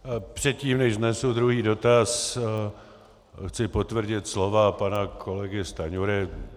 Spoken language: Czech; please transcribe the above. Předtím, než vznesu druhý dotaz, chci potvrdit slova pana kolegy Stanjury.